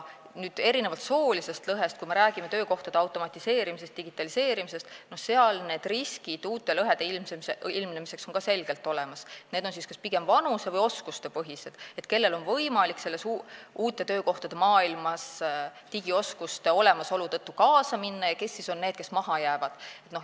Kui me räägime töökohtade automatiseerimisest ja digitaliseerimisest, siis seal on need uute lõhede ilmnemise riskid ka selgelt olemas, erinevalt soolisest lõhest on need pigem vanuse- või oskustepõhised, et kellel on võimalik uute töökohtade maailmaga digioskuste olemasolu tõttu kaasa minna ja kes on need, kes maha jäävad.